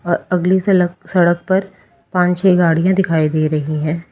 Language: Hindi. अ अगली सलक् सड़क पर पान छे गाड़िया दिखाई दे रही है।